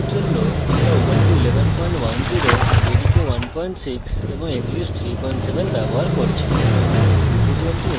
এই tutorial জন্য আমরা